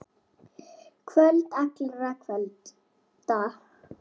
Kvöld allra kvölda.